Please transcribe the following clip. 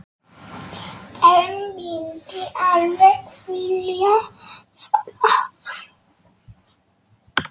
En myndi alveg vilja það.